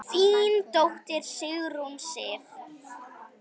Þín dóttir, Sigrún Sif.